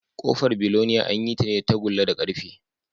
Ƙofar biloniya an yi ta ne da tagulla da ƙarfe